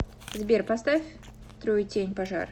сбер поставь труетень пожар